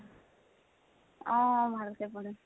অহ অহ, ভাল কে পঢ়িম